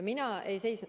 Mina ei seisnud.